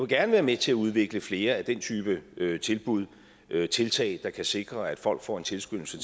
gerne være med til at udvikle flere af den type tilbud og tiltag der kan sikre at folk får en tilskyndelse